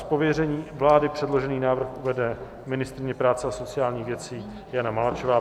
Z pověření vlády předložený návrh uvede ministryně práce a sociálních věcí Jana Maláčová.